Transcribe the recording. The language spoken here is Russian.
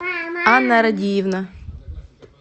анна радиевна